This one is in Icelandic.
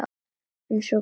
Eins og hver?